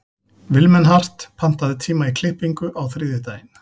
Vilmenhart, pantaðu tíma í klippingu á þriðjudaginn.